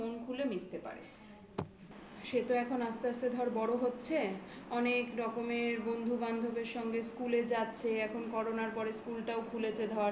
হ্যাঁ সে যেন আমার সাথে মন খুলে মিশতে পারে। সে তো এখন আস্তে আস্তে ধর বড় হচ্ছে. অনেক রকমের বন্ধু বান্ধবের সঙ্গে school এ যাচ্ছে. এখন Corona র পরে school টাও খুলেছে ধর